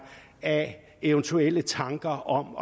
af eventuelle tanker om